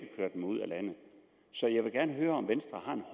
køre dem ud af landet så jeg vil gerne høre om venstre